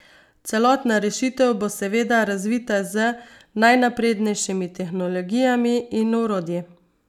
Celotna rešitev bo seveda razvita z najnaprednejšimi tehnologijami in orodji.